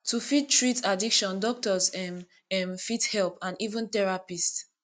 to fit treat addiction doctor um um fit help and even therapist